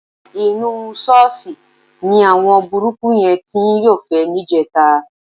Inú ṣọ́ọ̀ṣì ni àwọn burúkú yẹn ti ń yọ́fẹ̀ẹ́ níjẹta.